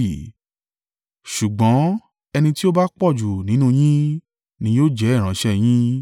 Ṣùgbọ́n ẹni tí ó bá pọ̀jù nínú yín, ni yóò jẹ́ ìránṣẹ́ yín.